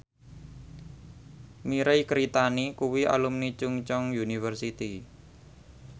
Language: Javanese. Mirei Kiritani kuwi alumni Chungceong University